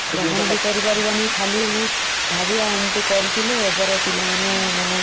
ଫେରି ତ ପାରିବନି ସେ ଜିନିଷ କୁ ଆମେ ଆଉ ଗ୍ରହଣ ବି କରିପାରିବା ନି ।